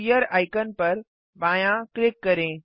sphere icon पर बायाँ click करें